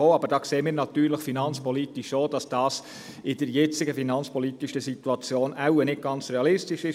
Wir sehen aber natürlich in finanzpolitischer Hinsicht auch, dass dies in der jetzigen finanzpolitischen Situation wohl nicht ganz realistisch ist.